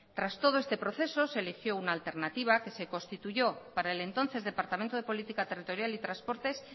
tras todo este proceso se eligió una alternativa que se constituyó para el entonces departamento de política territorial y transportes